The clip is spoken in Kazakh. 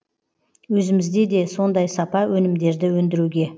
өзімізде де сондай сапа өнімдерді өндіруге